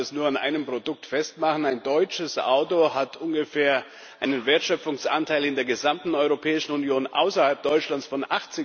Ich kann das an einem Produkt festmachen Ein deutsches Auto hat ungefähr einen Wertschöpfungsanteil in der gesamten Europäischen Union außerhalb Deutschlands von